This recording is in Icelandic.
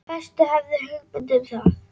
Fæstir höfðu hugmynd um það.